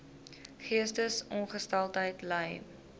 geestesongesteldheid ly